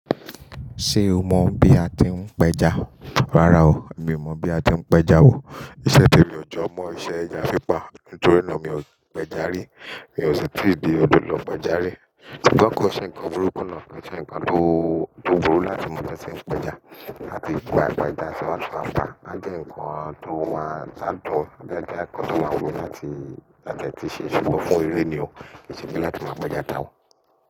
Ṣé o mọ̀ bí a ti ń pẹja? Rárá o, mi ò mọ̀ bí a ti ń pẹja wò. Ìṣẹ̀ temi ọ̀jọ̀ mọ ìṣẹ̀ ẹja pípa, nítorí náà mi ò pẹja rí. Mi ò sì tí di odò lọ pẹja rí. Ṣungbọ́n kọ̀ ṣi ǹkan burúkú náà? Ṣe ǹkan tó burú láti mọ bí a ṣe ń pẹja láti bu agbẹja sí ọwọ́ àǹfàá. Náà jẹ́ ǹkan tó máa dán tó, náà jẹ́ ǹkan tó máa wù mí láti máa ṣugbon fún eré ni o. kÌnṣẹ̀ pe láti máa pẹja ta o.